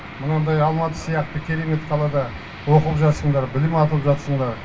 мынандай алматы сияқты керемет қалада оқып жатсыңдар білім алып жатсыңдар